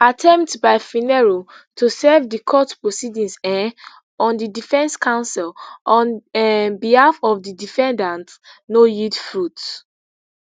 attempts by phinero to serve di court proceedings um on di defence counsel on um behalf of di defendant no yield fruit